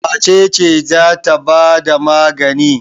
Wace ce za ta ba da magani?